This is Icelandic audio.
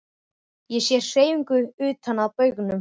Ég sé hreyfingu utan á baugnum.